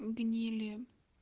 гнили